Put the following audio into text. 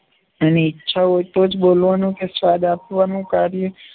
એની ઇચ્છા હોય તો જ બોલવાનું કે સ્વાદ આપવાનું કાર્ય